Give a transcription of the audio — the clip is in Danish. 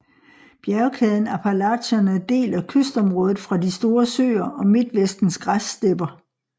Bjergkæden Appalacherne deler kystområdet fra de Store Søer og Midtvestens græsstepper